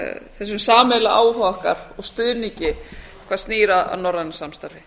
þessum sameiginlega áhuga okkar og stuðningi hvað snýr að norrænu samstarfi